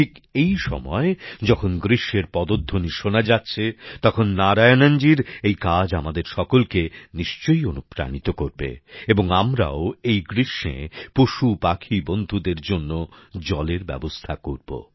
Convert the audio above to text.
ঠিক এই সময় যখন গ্রীষ্মের পদধ্বনি শোনা যাচ্ছে তখন নারায়ণনজীর এই কাজ আমাদের সকলকে নিশ্চয়ই অনুপ্রাণিত করবে এবং আমরাও এই গ্রীষ্মে পশুপাখি বন্ধুদের জন্য জলের ব্যবস্থা করব